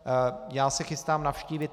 Já se chystám navštívit